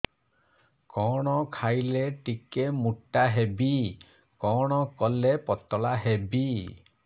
କଣ ଖାଇଲେ ଟିକେ ମୁଟା ହେବି କଣ କଲେ ପତଳା ହେବି